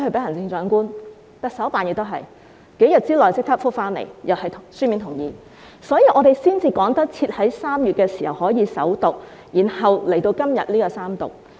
行政長官辦公室也一樣，在數天之內已回覆並發出書面同意，所以我們才能趕及在3月時首讀，然後在今天進行三讀。